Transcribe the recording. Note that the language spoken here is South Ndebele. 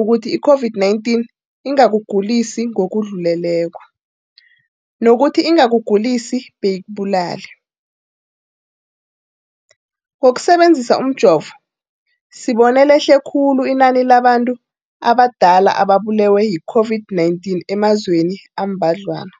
ukuthi i-COVID-19 ingakugulisi ngokudluleleko, nokuthi ingakugulisi beyikubulale. Ngokusebe nzisa umjovo, sibone lehle khulu inani labantu abadala ababulewe yi-COVID-19 emazweni ambadlwana.